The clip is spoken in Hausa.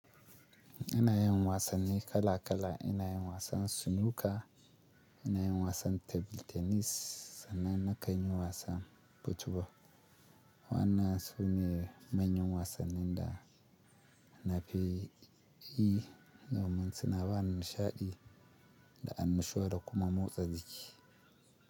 Ina yin wasanni kala kala, ina yin wasan snooker, ina yin wasan table tennis sannan nakan yi wasan football. Wannan sune manyan wasannin da na fi yi, dumin su na bani nishaɗi da annushuwa da kuma motsa jiki.